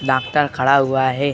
Doctor खड़ा हुआ है।